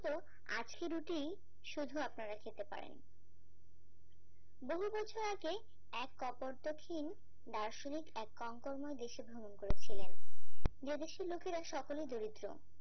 আজকে রুটি শুধু আপনারা খেতে পারেন বহু বছর আগে এক কপোর্তকিন দার্শনিক এক কংকর্মই দেশে ভ্রমণ করেছিলেন যে দেশের লোকেরা সকলে দরিদ্র